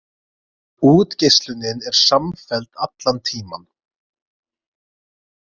Útgeislunin er samfelld allan tímann.